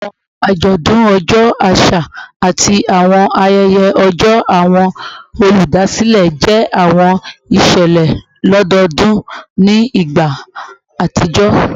Awọn ajọdun ọjọ aṣa ati awọn ayẹyẹ ọjọ awọn oludasilẹ jẹ awọn iṣẹlẹ lododun ni igba atijọ